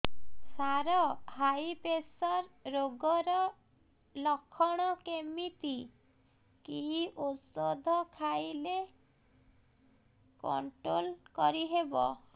ସାର high pressure ରୋଗର ଲଖଣ କେମିତି କି ଓଷଧ ଖାଇଲେ କଂଟ୍ରୋଲ କରିହେବ